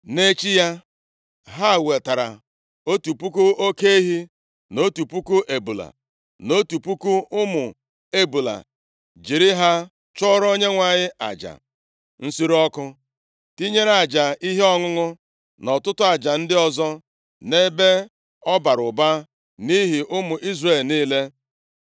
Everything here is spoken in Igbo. Nʼechi ya, ha wetara otu puku oke ehi, na otu puku ebule, na otu puku ụmụ ebule jiri ha chụọrọ Onyenwe anyị aja nsure ọkụ. Tinyere aja ihe ọṅụṅụ na ọtụtụ aja ndị ọzọ nʼebe ọ bara ụba nʼihi ụmụ Izrel niile.